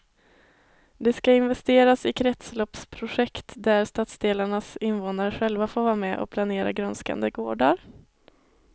Det ska investeras i kretsloppsprojekt där stadsdelarnas invånare själva får vara med och planera grönskande gårdar.